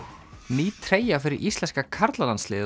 ný treyja fyrir íslenska karlalandsliðið